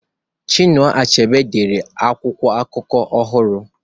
Chinua Achebe dere akwụkwọ akụkọ ọhụrụ